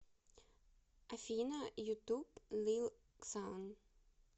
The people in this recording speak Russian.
афина ютуб лил ксан